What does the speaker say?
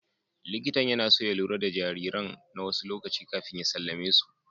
Likitan yana so ya lura da jariran na wasu lokaci kafin ya sallame mu.